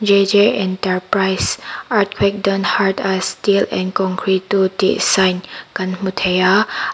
enterprise earthquake dont hurt us steel and concrete do tih sign kan hmu thei a.